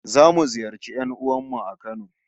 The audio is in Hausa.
Zamu ziyarci 'yan'uwan mu a Kano